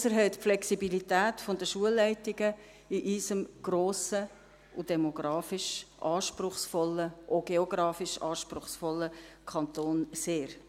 Dies erhöht die Flexibilität der Schulleitungen in unserem grossen und demografisch wie auch geografisch anspruchsvollen Kanton sehr.